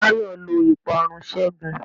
Táyọ́ lọ ìparun ségun.